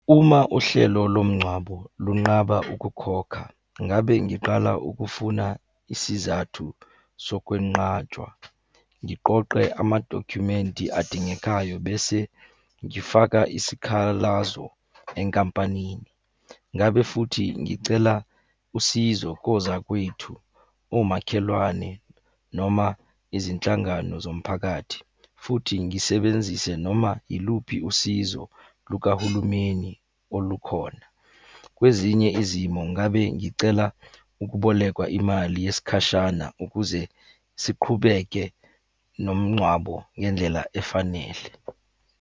Uma uhlelo lomngcwabo lunqaba ukukhokha, ngabe ngiqala ukufuna isizathu sokwenqatshwa. Ngiqoqe amadokhumenti adingekayo bese ngifaka isikhalazo enkampanini. Ngabe futhi ngicela usizo kozakwethu, omakhelwane noma izinhlangano zomphakathi, futhi ngisebenzise noma yiluphi usizo lukahulumeni olukhona. Kwezinye izimo ngabe ngicela ukubolekwa imali yesikhashana ukuze siqhubeke nomngcwabo ngendlela efanele.